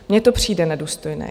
Mně to přijde nedůstojné.